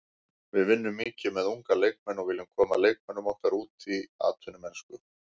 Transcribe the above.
Við vinnum mikið með unga leikmenn og viljum koma leikmönnum okkar út í atvinnumennsku.